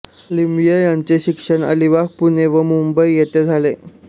लिमये यांचे शिक्षण अलिबाग पुणे व मुंबई येथे झाले